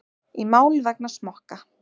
Í mál vegna smokka